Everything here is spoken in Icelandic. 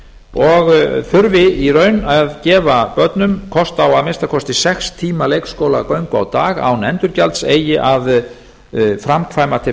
og þurfi í raun að gefa börnum kost á að minnsta kosti sex tíma leikskólagöngu á dag án endurgjalds eigi að framkvæma til